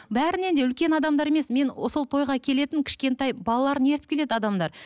бәрінен де үлкен адамдар емес мен сол тойға келетін кішкентай балаларын ертіп келеді адамдар